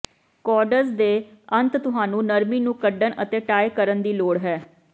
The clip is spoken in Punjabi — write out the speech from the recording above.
ਕੋਰਡਜ਼ ਦੇ ਅੰਤ ਤੁਹਾਨੂੰ ਨਰਮੀ ਨੂੰ ਕੱਢਣ ਅਤੇ ਟਾਈ ਕਰਨ ਦੀ ਲੋੜ ਹੈ